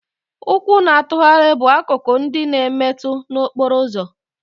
Ụkwụ na-atụgharị bụ akụkụ ndị na-emetu na okporo ụzọ